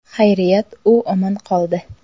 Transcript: Xayriyat, u omon qoldi.